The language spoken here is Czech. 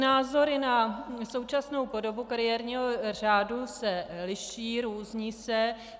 Názory na současnou podobu kariérního řádu se liší, různí se.